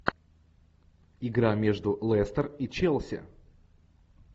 игра между лестер и челси